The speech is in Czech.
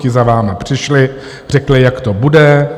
Ti za vámi přišli, řekli, jak to bude.